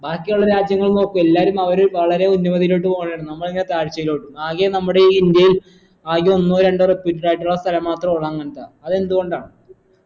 ബാക്കിയുള്ള രാജ്യങ്ങൾ നോക്ക് എല്ലാരും അവര് വളരെ ഉന്നമതിയിലോട്ട് പോകെയാണ് നമ്മളിങ്ങനെ താഴ്ചയിലോട്ടും ആകെ നമ്മുടെ ഈ ഇന്ത്യയിൽ ആകെ ഒന്നോ രണ്ടോ സ്ഥലം മാത്രേ ഉള്ളൂ അങ്ങനത്തെ അത് എന്തുകൊണ്ടാണ്